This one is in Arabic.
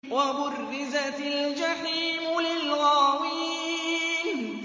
وَبُرِّزَتِ الْجَحِيمُ لِلْغَاوِينَ